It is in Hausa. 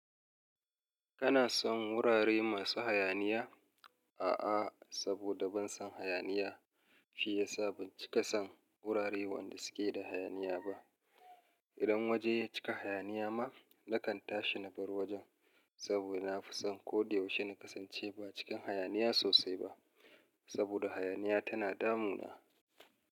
Kana son wurare masu hayaniya? A'a, saboda ban son hayaniya shi yasa ban cika son wurare wanda suke da hayaniya ba. Idan waje ya cika hayaniya ma, nakan tashi na bar wajen saboda na fi son ko da yaushe na kasance ba cikin hayaniya sosai ba saboda hayaniya tana damuna.